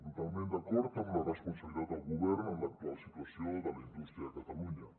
totalment d’acord amb la responsabilitat del govern en l’actual situació de la indústria de catalunya